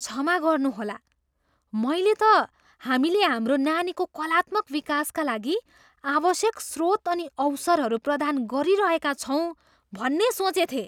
क्षमा गर्नुहोला? मैले त हामीले हाम्रो नानीको कलात्मक विकासका लागि आवश्यक स्रोत अनि अवसरहरू प्रदान गरिरहेका छौँ भन्ने सोचेथेँ।